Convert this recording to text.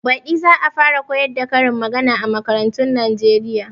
Baɗi za a fara koyar da karin magana a makarantun Nijeriya